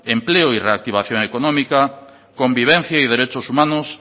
empleo y reactivación económica convivencia y derechos humanos